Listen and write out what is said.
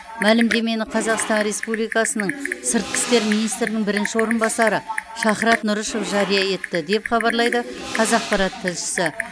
мәлімдемені қазақстан республикасының сыртқы істер министрінің бірінші орынбасары шахрат нұрышев жария етті деп хабарлайды қазақпарат тілшісі